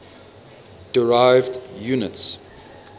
derived units